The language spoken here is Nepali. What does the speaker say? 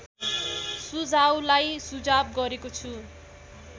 सुझाउलाई सुझाव गरेको छु